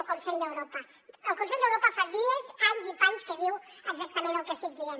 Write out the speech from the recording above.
el consell d’europa fa dies anys i panys que diu exactament el que estic dient